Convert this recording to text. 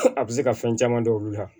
A bɛ se ka fɛn caman dɔn olu la